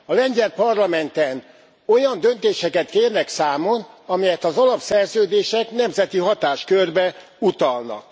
A lengyel parlamenten olyan döntéseket kérnek számon, amelyet az alapszerződések nemzeti hatáskörbe utalnak.